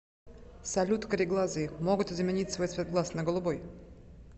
салют кареглазые могут изменить свой цвет глаз на голубой